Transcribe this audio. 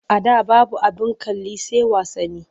A da babu abin kalli sai wasanni.